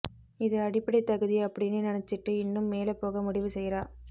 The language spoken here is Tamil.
இது அடிப்படை தகுதி அப்டின்னு நினைச்சுட்டு இன்னும் மேல போக முடிவு செய்றா